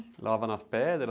Lava nas pedras?